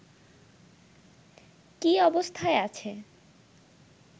কী অবস্থায় আছে